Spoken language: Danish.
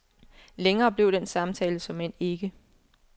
Længere blev den samtale såmænd ikke.